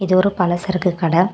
இது ஒரு பல சரக்கு கட.